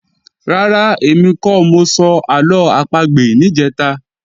Rárá, èmi kọ́ mọ sọ àlọ́ àpagbè níjẹ̀ta